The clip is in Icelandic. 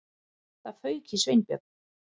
Það fauk í Sveinbjörn.